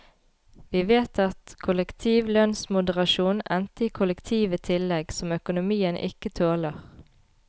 Vi vet at kollektiv lønnsmoderasjon endte i kollektive tillegg som økonomien ikke tåler.